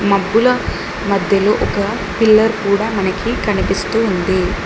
మబ్బుల మధ్యలో ఒక పిల్లర్ కూడా మనకి కనిపిస్తూ ఉంది.